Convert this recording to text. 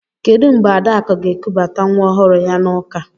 Kedụ mgbe Adakụ ga-ekubata nwa ọhụrụ ya n'ụka?